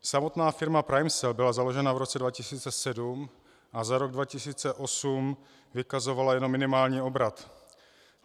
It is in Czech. Samotná firma PrimeCell byla založena v roce 2007 a za rok 2008 vykazovala jenom minimální obrat.